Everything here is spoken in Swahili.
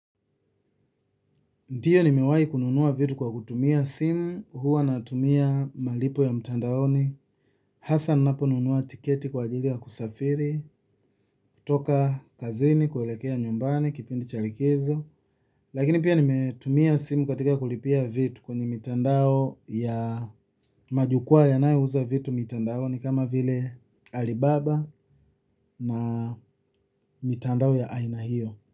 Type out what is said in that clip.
Ndio nimewai kununua viatu kwa kutumia simu huwa natumia malipo ya mtandaoni. Hasa napo nunua tiketi kwa ajili ya kusafiri, kutoka kazini, kuelekea nyumbani, kipindi cha likizo. Lakini pia nimetumia simu katika kulipia vitu kwenye mitandao ya majukua yanayouza vitu mitandaoni kama vile. Alibaba na mitandao ya aina hiyo.